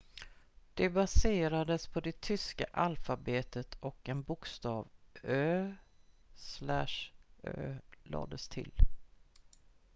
"det baserades på det tyska alfabetet och en bokstav "õ/õ" lades till.